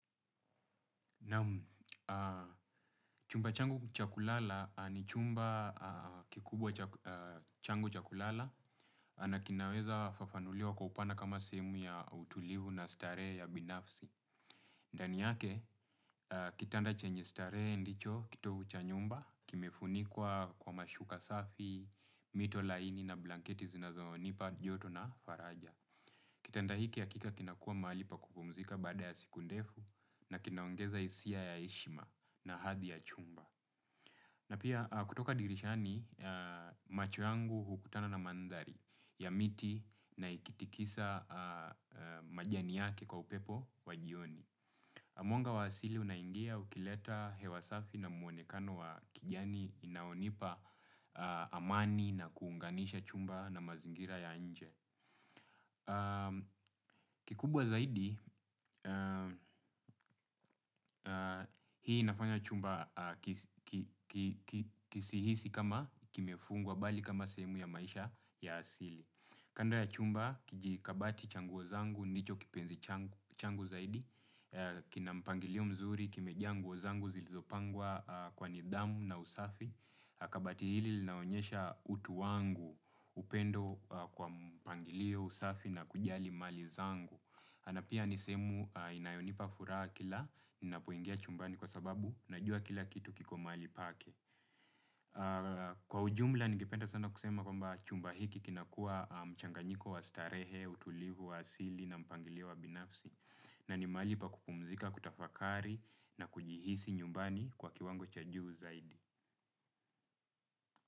Naam chumba changu cha kula ni chumba kubwa cha kulalia na kinaweza fafanunuliwa kwa upana kama sehemu ya utuluvu na furaha ya ubinafsi. Ndani yake, kitanda chenye stare ndicho kitovu cha nyumba. Kimefunikwa kwa mashuka safi, mito laini na blanketi zinazo nipa joto na faraja. Kitanda hiki ya kika kinakua maali pa kupumzika bada ya siku ndefu. Na kinaongeza isia ya eshima na hathi ya chumba. Na pia kutoka dirishani, macho yangu hukutana na mandhari ya miti na ikitikisa majani yake kwa upepo wajioni. Mwanga wa asili unaingia ukileta hewasafi na muonekano wa kijani. Inaonipa amani na kuunganisha chumba na mazingira ya anje. Kikubwa zaidi, hii inafanya chumba kisihisi kama kimefungwa bali kama sehemu ya maisha ya asili. Kando ya chumba, kijikabati changuo zangu, nicho kipenzi changu zaidi. Kinampangilio mzuri, kimejaa nguo zangu, zilizopangwa kwa nidhamu na usafi. Kabati hili naonyesha utu wangu upendo kwa mpangilio usafi na kujali mali zangu. Anapia nisehemu inayonipa furaha kila na poingia chumbani kwa sababu na jua kila kitu kiko mali pake. Kwa ujumla nigipenda sana kusema kwa mba chumba hiki kinakua mchanganyiko wa starehe, utulivu wa asili na mpangilio wa binafsi. Na ni mali pa kupumzika kutafakari na kujihisi nyumbani kwa kiwango cha juu zaidi.